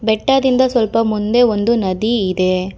ಬೆಟ್ಟದಿಂದ ಸ್ವಲ್ಪ ಮುಂದೆ ಒಂದು ನದಿ ಇದೆ.